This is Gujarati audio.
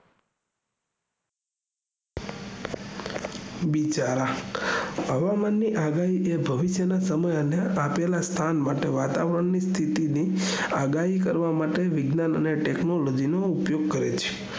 બિચારા હવામાન ની અગા હી એ ભવિષ્યના સમયે આપેલા સ્થાન માટે વાતાવરણ ની સ્થિતિ ની આગાહી કરવા માટે વિજ્ઞાન અને technology નો ઉપયોગ કરે છે